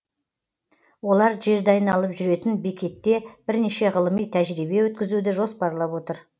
олар жерді айналып жүретін бекетте бірнеше ғылыми тәжірибе өткізуді жоспарлап отыр